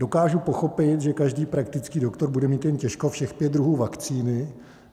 Dokážu pochopit, že každý praktický doktor bude mít jen těžko všech pět druhů vakcíny.